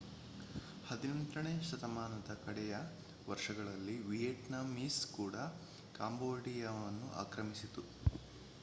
18ನೇ ಶತಮಾನದ ಕಡೆಯ ವರ್ಷಗಳಲ್ಲಿ ವಿಯೆಟ್ನಾಮೀಸ್ ಕೂಡ ಕಾಂಬೋಡಿಯಾವನ್ನು ಆಕ್ರಮಿಸಿತು